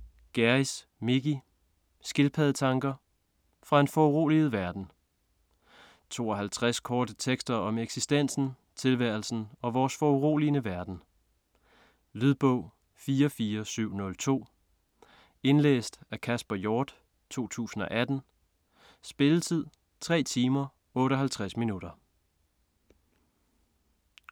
Gjerris, Mickey: Skildpaddetanker: fra en foruroliget verden 52 korte tekster om eksistensen, tilværelsen, og vores foruroligende verden. Lydbog 44702 Indlæst af Kasper Hjort, 2018. Spilletid: 3 timer, 58 minutter.